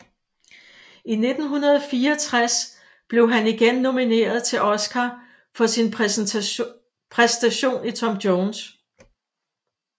I 1964 blev han igen nomineret til Oscar for sin præstation i Tom Jones